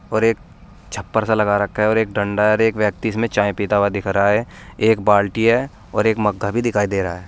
और एक छप्पर सा लगा रखा है और एक डंडा है और एक व्यक्ति इसमें चाय पीता हुआ दिख रहा है एक बाल्टी है और एक मग्गा भी दिखाई दे रहा है।